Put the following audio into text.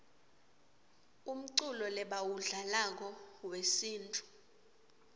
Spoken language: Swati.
umculo lebawudlalako wesintfu